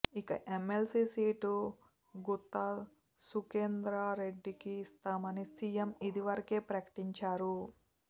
ఇక MLC seat Gutta సుఖేందర్రెడ్డికి ఇస్తామని సీఎం ఇదివరకే ప్రకటించారు